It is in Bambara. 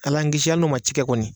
Ala an kisi hali n'u man ci kɛ kɔni